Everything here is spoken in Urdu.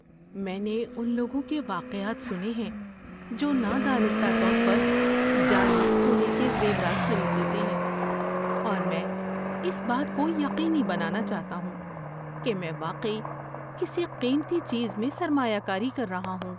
میں نے ان لوگوں کے واقعات سنے ہیں جو نادانستہ طور پر جعلی سونے کے زیورات خرید لیتے ہیں، اور میں اس بات کو یقینی بنانا چاہتا ہوں کہ میں واقعی کسی قیمتی چیز میں سرمایہ کاری کر رہا ہوں۔